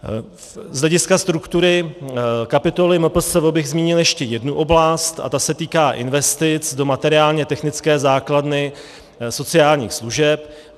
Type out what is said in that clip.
Z hlediska struktury kapitoly MPSV bych zmínil ještě jednu oblast a ta se týká investic do materiálně-technické základny sociálních služeb.